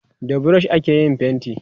da brush ake yin fainti